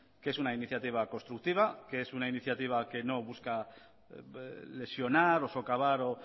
que es una iniciativa constructiva que es una iniciativa que no busca lesionar o socavar o